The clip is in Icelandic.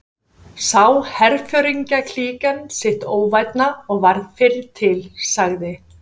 Sá herforingjaklíkan því sitt óvænna og varð fyrri til, sagði